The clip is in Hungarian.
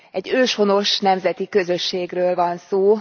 Egy őshonos nemzeti közösségről van szó.